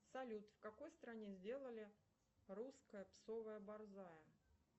салют в какой стране сделали русская псовая борзая